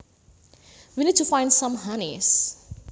We need to find some honeys